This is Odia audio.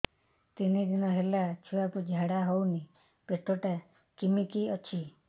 ତିନି ଦିନ ହେଲା ଛୁଆକୁ ଝାଡ଼ା ହଉନି ପେଟ ଟା କିମି କି ଅଛି